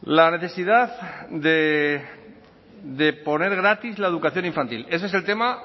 la necesidad de poner gratis la educación infantil ese es el tema